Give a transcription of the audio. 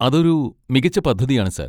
അതൊരു മികച്ച പദ്ധതിയാണ് സർ.